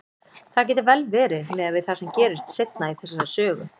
Það gæti vel verið, miðað við það sem gerist seinna í þessari sögu.